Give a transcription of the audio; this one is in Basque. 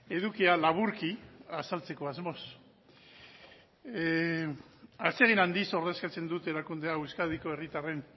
edukia laburki azaltzeko asmoz atsegin handiz ordezkatzen dut erakunde hau euskadiko herritarren